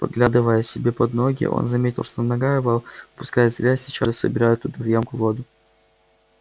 поглядывая себе под ноги он заметил что нога его опускаясь в грязь сейчас же собирает туда в ямку воду